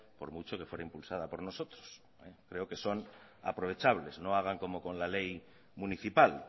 por mucho que fuera impulsada por nosotros creo que son aprovechables no hagan como con la ley municipal